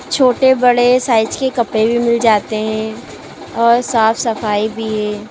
छोटे बड़े साइज के कपड़े भी मिल जाते हैं और साफ सफाई भी है।